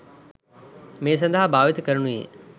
මේ සඳහා භාවිත කරනුයේ